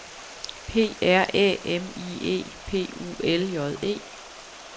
P R Æ M I E P U L J E